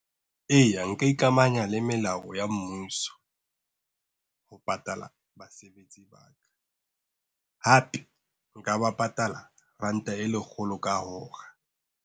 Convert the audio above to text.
Eya nka ikamahanya le melao ya mmuso, ho patala basebetsi ba ka hape nka ba patala ranta e lekgolo ka hora.